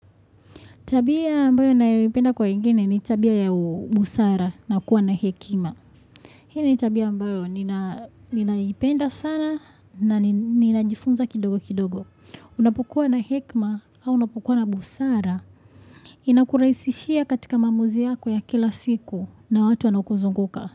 Tabia ambayo ninaipenda kwa wengine ni tabia ya busara na kuwa na hekima. Hii ni tabia ambao ninaipenda sana na ninajifunza kidogo kidogo. Unapokua na hekima au unapokua na busara. Inakuraisishia katika maamuzi yako ya kila siku na watu wanaokuzunguka.